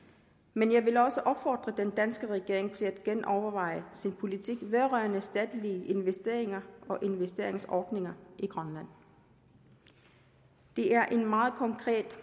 men jeg vil også opfordre den danske regering til at genoverveje sin politik vedrørende statslige investeringer og investeringsordninger i grønland det er en meget konkret